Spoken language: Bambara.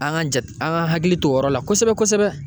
An ka jate an ka hakili to o yɔrɔ la kosɛbɛ kosɛbɛ